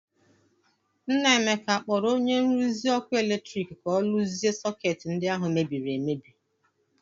Nna Emeka a kpọrọ onye nruzi ọkụ eletrik ka ọ rụzie sọketị ndi ahụ mebiri emebi?